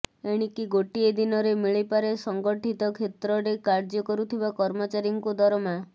ଏଣିକି ଗୋଟିଏ ଦିନରେ ମିଳିପାରେ ସଙ୍ଗଠିତ କ୍ଷେତ୍ରରେ କାର୍ଯ୍ୟ କରୁଥିବା କର୍ମଚାରୀଙ୍କୁ ଦରମା